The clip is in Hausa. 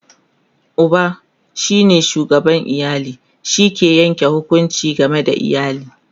Uba shine shugaban iyali, shi ke Yanke hukunci game da iyali